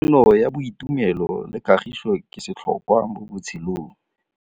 Tsalano ya boitumelo le kagiso ke setlhôkwa mo botshelong.